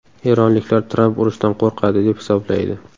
Eronliklar Tramp urushdan qo‘rqadi, deb hisoblaydi.